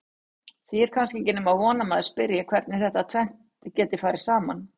Því er kannski ekki nema von að maður spyrji hvernig þetta tvennt geti farið saman?